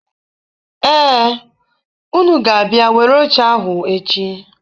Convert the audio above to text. Ee, unu ga-abịa were oche ahụ echi.